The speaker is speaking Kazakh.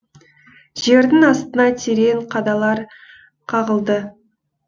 жердің астына терең қадалар қағылды